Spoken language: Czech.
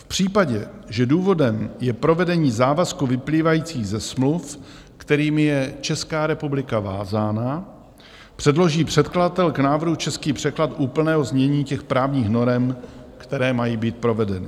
V případě, že důvodem je provedení závazků vyplývajících ze smluv, kterými je Česká republika vázána, předloží předkladatel k návrhu český překlad úplného znění těch právních norem, které mají být provedeny.